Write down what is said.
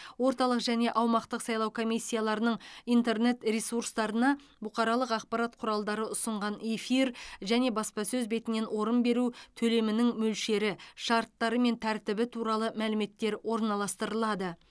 орталық және аумақтық сайлау комиссияларының интернет ресурстарына бұқаралық ақпарат құралдары ұсынған эфир және баспасөз бетінен орын беру төлемінің мөлшері шарттары мен тәртібі туралы мәліметтер орналастырылады